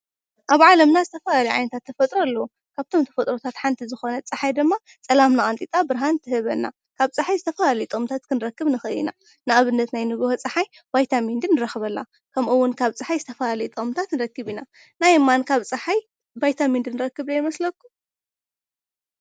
ኣብ ዓለምና ዝተፈላለዩ ዓይነት ተፈጥሮ ኣለው። ካብቶም ተፈጥሮታት ሓንቲ ዝኮነት ፀሓይ ድማ ፀላምና ቀንጢጣ ብርሃን ትህበና፡፡ ካብ ፀሓይ ዝተፈላለዩ ጥቅምታት ክንረክብ ንክእል ኢና። ንኣብነት ናይ ንጉሆ ፀሓይ ቫይታሚን ዲ ንረክበላ ከምኡውን ካብ ፀሓይ ዝተፈላለዩ ጥቅምታት ንረክብ ኢና፡፡ ናይ እማን ካብ ፀሓይ ቫይታሚን ዲ ንረክብ ዶ ይመስለኩም?